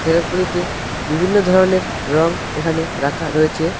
ব়্যাকগুলিতে বিভিন্ন ধরনের রঙ এখানে রাখা রয়েছে।